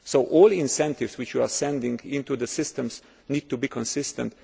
consistent. So all incentives which you send into the systems need to be